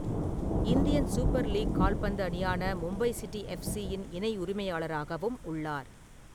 Indian super league கால்பந்து அணியான Mumbai city எஃப்சியின் இணை உரிமையாளராகவும் உள்ளார்.